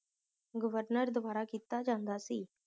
governor ਦਵਾਰਾ ਕੀਤਾ ਜਾਂਦਾ ਸੀ